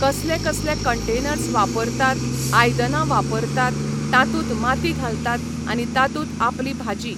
कसले कसले कंटेनर्स वापरतात, आयदनां वापरतात, तातूंत माती घालतात आनी तातूंत आपली भाजी